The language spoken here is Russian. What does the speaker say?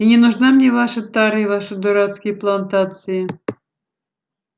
и не нужна мне ваша тара и ваши дурацкие плантации